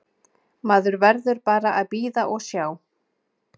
Maður verður bara að bíða og sjá.